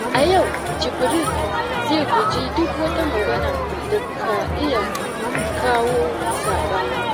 A yau, Jibril zai guji duk wata magana da ka iya kawo saɓani.